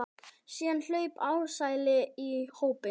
Síðan hlaupa ærsli í hópinn.